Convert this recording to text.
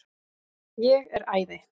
Ég er æði.